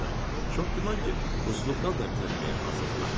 Çox güman ki, rusluqdan da imtina eləməyə hazırdılar.